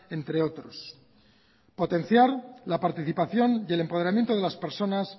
entre otros potenciar la participación y el empadronamiento de las personas